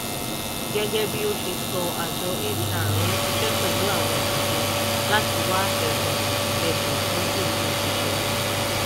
gẹ́gẹ́ bí ó ṣe sọ àjọ hr ń ṣiṣẹ́ pẹ̀lú àwọn àjọ láti wá ẹ̀bùn ẹ̀bùn tọ́jú òṣìṣẹ́.